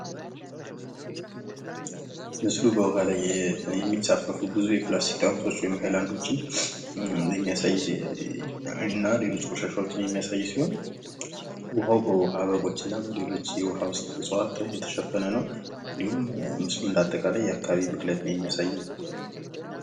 ምስሉ በዉኃ የሚንሳፈፉ ብዙ የፕላስቲክ ጠርሙሶችን ወይም ሀይላዶችን የሚያሳይ እና ሌሎች ቆሻሻዎችን የሚያሳይ ሲሆን ዉኃ በዉኃ በጎች እና ሌሎች እፅዋች የተሸፈነ ነዉ። እንደ አጠቃላይ የዉኃ ብክለትን የሚያሳይ ምስል ነዉ።